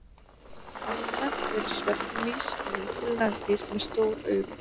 Almennt eru svefnmýs lítil nagdýr með stór augu.